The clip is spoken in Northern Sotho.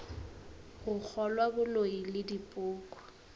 go kgolwa boloi le dipoko